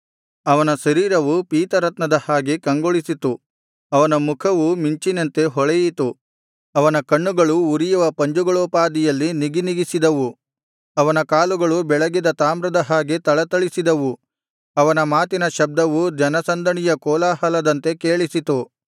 ಅವನ ಶರೀರವು ಪೀತರತ್ನದ ಹಾಗೆ ಕಂಗೊಳಿಸಿತು ಅವನ ಮುಖವು ಮಿಂಚಿನಂತೆ ಹೊಳೆಯಿತು ಅವನ ಕಣ್ಣುಗಳು ಉರಿಯುವ ಪಂಜುಗಳೋಪಾದಿಯಲ್ಲಿ ನಿಗಿನಿಗಿಸಿದವು ಅವನ ಕೈಕಾಲುಗಳು ಬೆಳಗಿದ ತಾಮ್ರದ ಹಾಗೆ ಥಳಥಳಿಸಿದವು ಅವನ ಮಾತಿನ ಶಬ್ದವು ಜನಸಂದಣಿಯ ಕೋಲಾಹಲದಂತೆ ಕೇಳಿಸಿತು